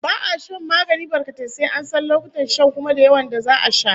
Ba'a shan magani barkatai, sai an san lokutan shan, kuma da yawan da za'a sha